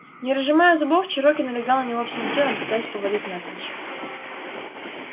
не разжимая зубов чероки налегал на него всем телом пытаясь повалить навзничь